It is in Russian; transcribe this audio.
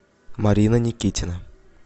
марина никитина